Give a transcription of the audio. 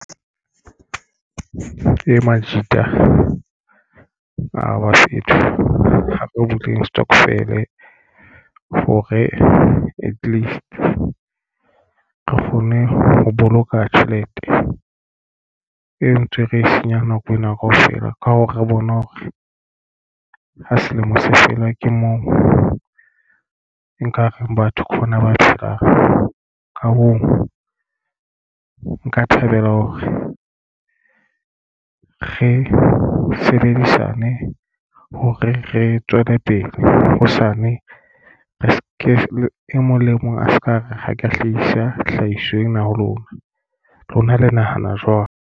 E majida abafowethu ha re bule stockvel hore at least re kgone ho boloka tjhelete e ntse re e senyang nako ena kaofela. Ka hoo re bona hore ha selemo se fela. Ke mo nka reng batho ka hona ba phelang ka hoo nka thabela hore re sebedisane hore re tswele pele hosane re ke e mong le mong a se ka re ho ka hlahisa hlahisweng ya ho lona. Lona le nahana jwang?